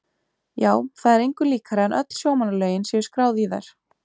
Já, það er engu líkara en öll sjómannalögin séu skráð í þær.